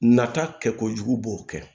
Nata kɛ kojugu b'o kɛ